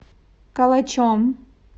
калачом